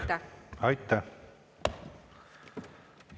Aitäh!